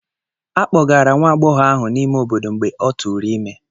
A kpọgara nwa agbọghọ ahụ n'ime obodo mgbe ọ tụrụ ime.